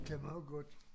Kan man jo godt